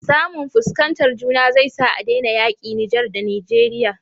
Samu fuskantar juna zai sa adena yaƙi niger da nigeria